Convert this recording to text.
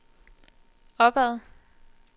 opad